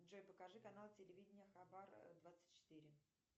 джой покажи канал телевидения хабар двадцать четыре